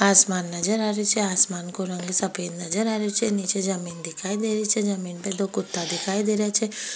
आसमान नजर आ रहियो छे आसमान को रंग सफेद नजर आ रियो छे नीचे जमीन दिखाई दे रही छे जमीन पे दो कुत्ता दिखाई दे रिया छे।